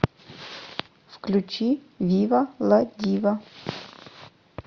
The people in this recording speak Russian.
включи вива ла дива